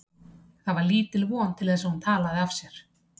Það var lítil von til þess að hún talaði af sér.